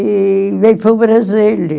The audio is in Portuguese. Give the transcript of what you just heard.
E veio para o Brasil.